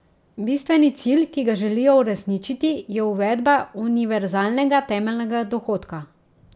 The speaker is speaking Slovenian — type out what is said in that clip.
Bistveni cilj, ki ga želijo uresničiti, je uvedba univerzalnega temeljnega dohodka.